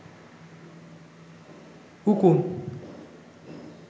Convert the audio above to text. উকুন